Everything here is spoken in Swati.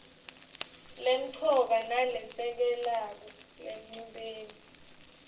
lemcoka nalesekelako enchubeni